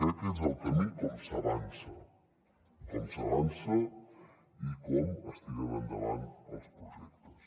crec que és el camí com s’avança com s’avança i com es tiren endavant els projectes